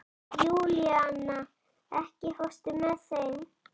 Júlíana, ekki fórstu með þeim?